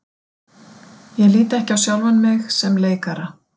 Ég lít ekki á sjálfan mig sem leikara.